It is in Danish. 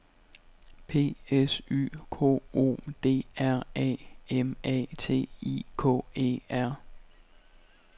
P S Y K O D R A M A T I K E R